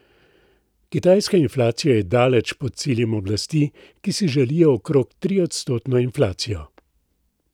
Kitajska inflacija je daleč pod ciljem oblasti, ki si želijo okrog triodstotno inflacijo.